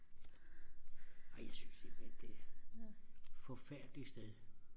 ej jeg synes simpelthen det er forfærdeligt sted